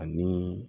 Ani